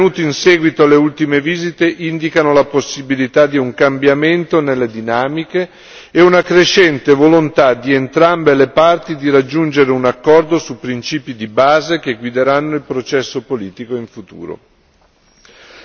I rapporti pervenuti in seguito alle ultime visite indicano la possibilità di un cambiamento nelle dinamiche e una crescente volontà di entrambe le parti di raggiungere un accordo sui principi di base che guideranno il processo politico in futuro.